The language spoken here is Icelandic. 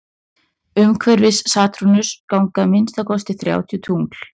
umhverfis satúrnus ganga að minnsta kosti þrjátíu tungl